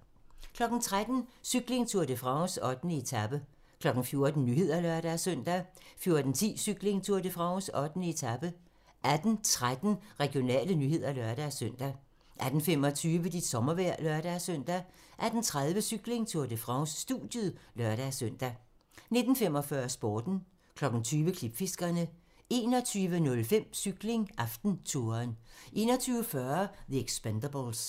13:00: Cykling: Tour de France - 8. etape 14:00: Nyhederne (lør-søn) 14:10: Cykling: Tour de France - 8. etape 18:13: Regionale nyheder (lør-søn) 18:25: Dit sommervejr (lør-søn) 18:30: Cykling: Tour de France - studiet (lør-søn) 19:45: Sporten 20:00: Klipfiskerne 21:05: Cykling: AftenTouren 21:40: The Expendables